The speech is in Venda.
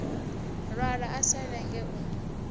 lwala a sa lenge u